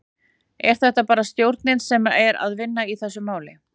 Er þetta bara stjórnin sem er að vinna í þessu máli?